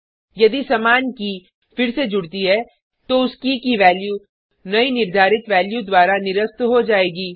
यदि समान के फिर से जुडती है तो उस के की वैल्यू नयी निर्धारित वैल्यू द्वारा निरस्त हो जायेगी